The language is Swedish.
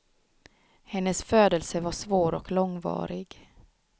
Hennes födelse var svår och långvarig.